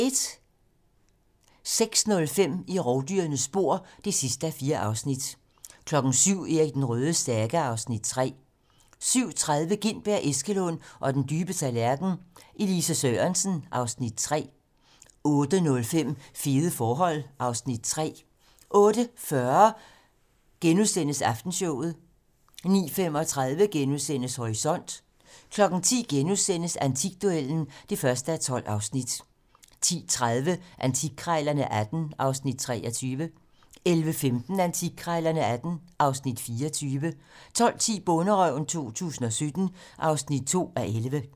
06:05: I rovdyrenes spor (4:4) 07:00: Erik den Rødes saga (Afs. 3) 07:30: Gintberg, Eskelund og den dybe tallerken: Elise Sørensen (Afs. 3) 08:05: Fede forhold (Afs. 3) 08:40: Aftenshowet * 09:35: Horisont * 10:00: Antikduellen (1:12)* 10:30: Antikkrejlerne XVIII (Afs. 23) 11:15: Antikkrejlerne XVIII (Afs. 24) 12:10: Bonderøven 2017 (2:11)